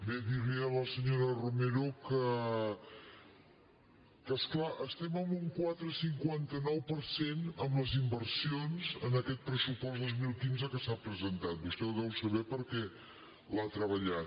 bé dir li a la senyora romero que és clar estem en un quatre coma cinquanta nou per cent amb les inversions en aquest pressupost dos mil quinze que s’ha presentat vostè ho deu saber perquè l’ha treballat